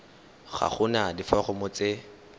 ga go na diforomo tse